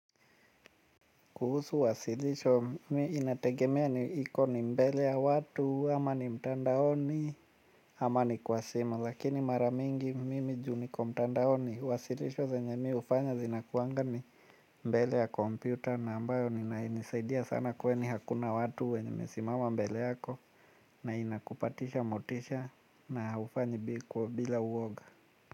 Kuhusu wasilisho mimi inategemea ni iko ni mbele ya watu ama ni mtandaoni ama ni kwa simu lakini mara mingi mimi ju niko mtandaoni wasilisho zenye mimi hufanya zinakuanga ni mbele ya kompyuta na ambayo inanisaidia sana kwani hakuna watu wenye wamesimama mbele yako na inakupatisha motisha na hufanyi bila uoga.